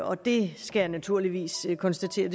og det skal jeg naturligvis konstatere